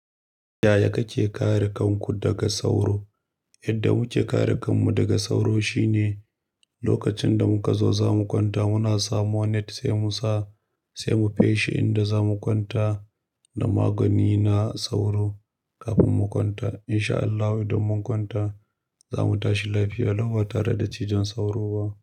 Yaya kake kare kanku daga sauro? Yadda muke kare kanmu daga sauro shine lokacin da muka zo zamu kwanta muna samu net sai mu sa, sai mu kai shi inda za mu kwanta da magani na sauro kafin mu kwanta. In sha Allahu idan mun kwanta za mu tashi lafiya lau ba tare da ciwon sauro ba.